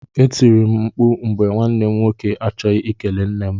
E tiri m mkpụ mgbe nwanne m nwoke achọghị ikele nne m.